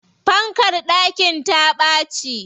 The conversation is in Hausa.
Fankar ɗakin ta ɓaci.